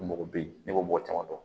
Mɔgɔ bɛ yen ne b'o mɔgɔ caman dɔn